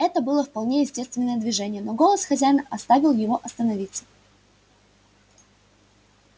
это было вполне естественное движение но голос хозяина оставил его остановиться